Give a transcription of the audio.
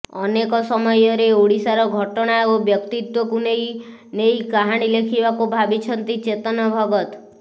ଅନେକ ସମୟରେ ଓଡ଼ିଶାର ଘଟଣା ଓ ବ୍ୟକ୍ତିତ୍ବକୁ ନେଇ ନେଇ କାହାଣୀ ଲେଖିବାକୁ ଭାବିଛନ୍ତି ଚେତନ ଭଗତ